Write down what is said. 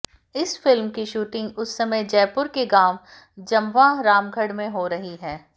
इस फिल्म की शूटिंग उस समय जयपुर के गांव जमवा रामगढ़ में हो रही है